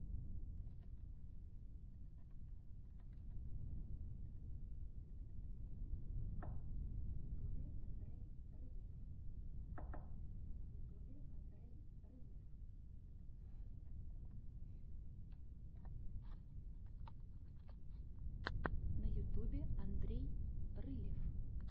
на ютубе андрей рылев